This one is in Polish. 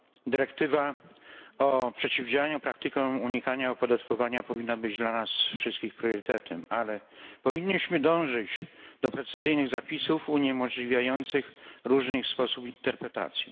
Dyrektywa o przeciwdziałaniu praktykom unikania opodatkowania powinna być dla nas wszystkich priorytetem, ale powinniśmy dążyć do precyzyjnych zapisów uniemożliwiających różny sposób ich interpretacji.